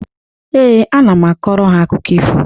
Ee, ana m akọrọ ha akụkọ ifo.